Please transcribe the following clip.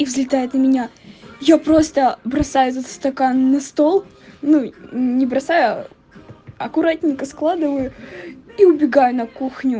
и взлетает на меня я просто бросаю этот стакан на стол ну не бросаю аккуратненько складываю и убегаю на